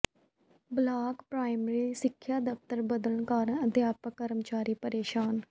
block primary ਸਿੱਖਿਆ ਦਫ਼ਤਰ ਬਦਲਣ ਕਾਰਨ ਅਧਿਆਪਕ ਤੇ ਕਰਮਚਾਰੀ ਪ੍ਰੇਸ਼ਾਨ